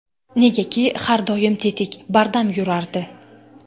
Negaki, har doim tetik, bardam yurardi.